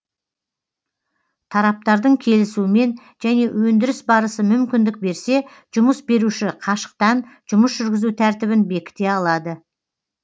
тараптардың келісуімен және өндіріс барысы мүмкіндік берсе жұмыс беруші қашықтан жұмыс жүргізу тәртібін бекіте алады